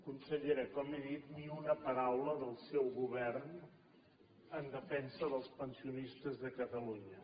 consellera com he dit ni una paraula del seu govern en defensa dels pensionistes de catalunya